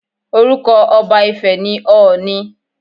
Orúkọ ọba ifẹ̀ ni ọọ̀ni